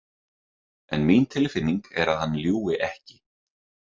En mín tilfinning er að hann ljúgi ekki.